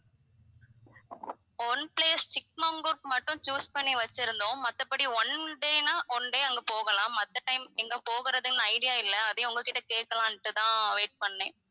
one place சிக்மங்களூருக்கு மட்டும் choose பண்ணி வச்சி இருந்தோம் மத்தபடி one day னா one day அங்க போகலாம் மத்த time எங்க போகுறதுன்னு idea இல்ல அதயும் உங்க கிட்ட கேட்கலாம்னுட்டு தான் wait பண்ணேன்